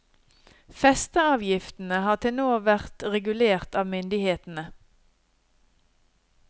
Festeavgiftene har til nå vært regulert av myndighetene.